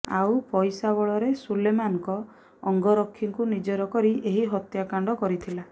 ଆଉ ପଇସା ବଳରେ ସୁଲେମାନଙ୍କ ଅଙ୍ଗରକ୍ଷୀଙ୍କୁ ନିଜର କରି ଏହି ହତ୍ୟାକାଣ୍ଡ କରିଥିଲା